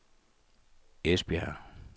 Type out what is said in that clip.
Esbjerg